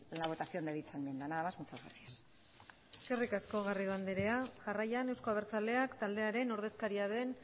la votación de dicha enmienda nada más muchas gracias eskerrik asko garrido anderea jarraian euzko abertzaleak taldearen ordezkaria den